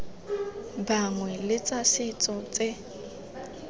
bangwe le tsa setso tse